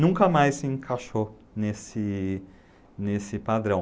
Nunca mais se encaixou nesse nesse padrão.